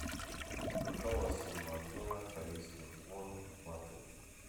какова сумма обмена корейских вон в баты